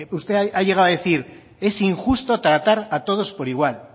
usted ha llegado a decir es injusto tratar a todos por igual